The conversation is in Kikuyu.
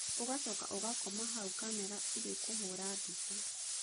Ũgacoka ũgakoma hau kamera ĩgĩkũhũra mbica.